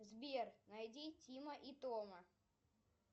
сбер найди тима и тома